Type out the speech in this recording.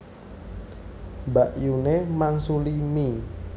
Mbakyune mangsuli mie